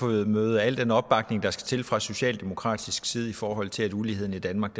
møde møde al den opbakning der skal til fra socialdemokratisk side i forhold til at uligheden i danmark